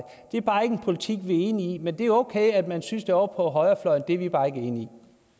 det er bare ikke en politik vi er enige i men det er okay at man synes det ovre på højrefløjen det er vi bare ikke enige